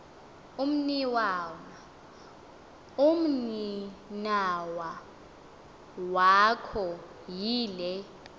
umninawa wakho yile